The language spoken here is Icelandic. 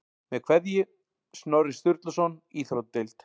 Með kveðju, Snorri Sturluson Íþróttadeild